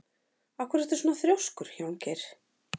Af hverju ertu svona þrjóskur, Hjálmgeir?